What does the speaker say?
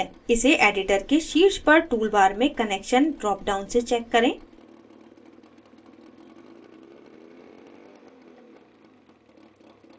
इसे editor के शीर्ष पर toolbar में onnection dropdown से check करें